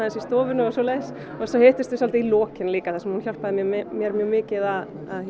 í stofunni og svoleiðis og svo hittumst við í lokin líka þar sem hún hjálpaði mér mjög mikið að